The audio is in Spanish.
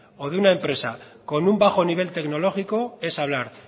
o de una empresa con una bajo nivel tecnológico es hablar